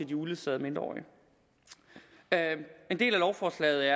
de uledsagede mindreårige en del af lovforslaget